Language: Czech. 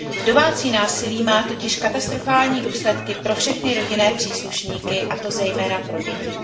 Domácí násilí má totiž katastrofální důsledky pro všechny rodinné příslušníky, a to zejména pro děti.